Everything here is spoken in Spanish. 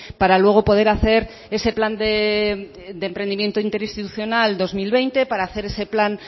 para luego poder hacer ese plan de emprendimiento interinstitucional dos mil veinte para hacer ese plan